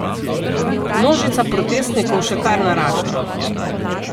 Množica protestnikov še kar narašča.